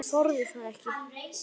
En hann þorði það ekki.